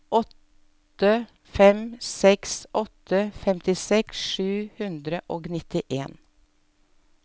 åtte fem seks åtte femtiseks sju hundre og nittien